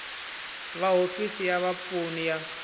va hofisi ya vapfuni ya